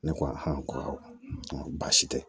Ne ko a ko awɔ n ko baasi tɛ